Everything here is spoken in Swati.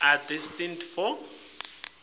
are destined for